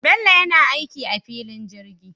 Bello yana aiki a filin jirgi